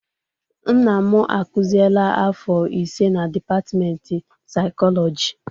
Nna m akuzieela afọ ise na dịpatịmentị saịkọlọjị.